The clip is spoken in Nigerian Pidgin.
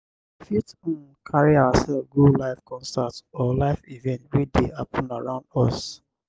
we fit um carry ourself go live concert or live event wey dey happen around us